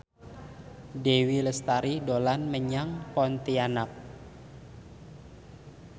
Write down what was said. Dewi Lestari dolan menyang Pontianak